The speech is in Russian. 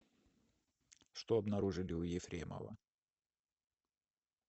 что обнаружили у ефремова